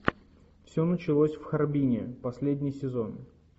все началось в харбине последний сезон